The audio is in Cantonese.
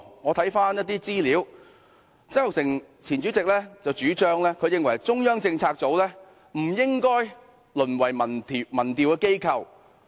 我翻看一些資料，讀到前主席曾鈺成的意見，他認為中策組不應該淪為民調機構。